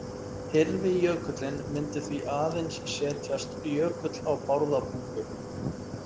Hyrfi jökullinn myndi því aðeins setjast jökull á Bárðarbungu.